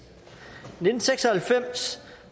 i nitten seks og halvfems